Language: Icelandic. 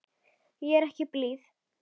Ég er ekki blíð.